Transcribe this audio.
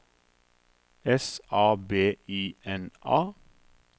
S A B I N A